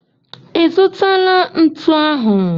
Ị zụtala ntu ahụ?